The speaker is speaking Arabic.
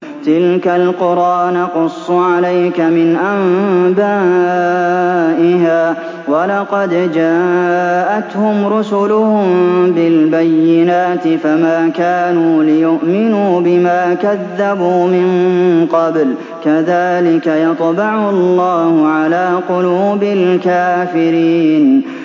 تِلْكَ الْقُرَىٰ نَقُصُّ عَلَيْكَ مِنْ أَنبَائِهَا ۚ وَلَقَدْ جَاءَتْهُمْ رُسُلُهُم بِالْبَيِّنَاتِ فَمَا كَانُوا لِيُؤْمِنُوا بِمَا كَذَّبُوا مِن قَبْلُ ۚ كَذَٰلِكَ يَطْبَعُ اللَّهُ عَلَىٰ قُلُوبِ الْكَافِرِينَ